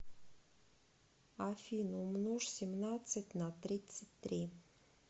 афина умножь семнадцать на тридцать три